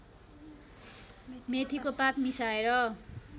मेथीको पात मिसाएर